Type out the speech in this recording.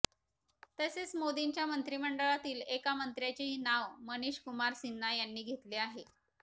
तसेच मोदींच्या मंत्रिमंडळातील एका मंत्र्याचेही नाव मनिष कुमार सिन्हा यांनी घेतले आहे